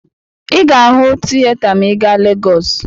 Ị ga-ahụ tiyeta maa ị gaa Legọọsụ.